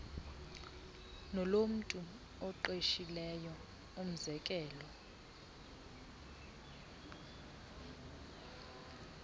nolomntu oqeshileyo umzekelo